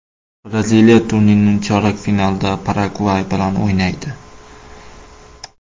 Braziliya turnirning chorak finalida Paragvay bilan o‘ynaydi.